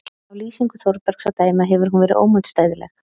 Af lýsingu Þórbergs að dæma hefur hún verið ómótstæðileg.